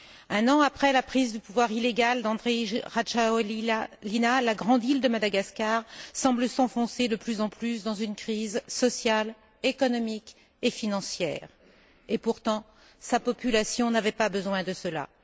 Un an après la prise de pouvoir illégale d'Andry Rajoelina, la grande île de Madagascar semble s'enfoncer de plus en plus dans une crise sociale, économique et financière, et pourtant sa population n'avait pas besoin de cela.